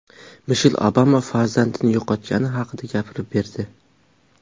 Mishel Obama farzandini yo‘qotgani haqida gapirib berdi.